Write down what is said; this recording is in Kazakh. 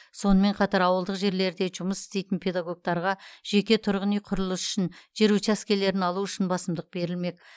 сонымен қатар ауылдық жерлерде жұмыс істейтін педагогтарға жеке тұрғын үй құрылысы үшін жер учаскелерін алу үшін басымдық берілмек